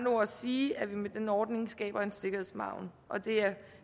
ord sige at vi med den ordning skaber en sikkerhedsmargen og det er